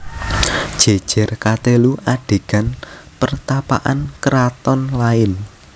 Jejer katelu adegan pertapaan keraton lain